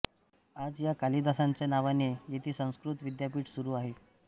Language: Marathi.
आज या कालिदासांच्या नावाने येथे संस्कृत विद्यापीठ सुरू आहे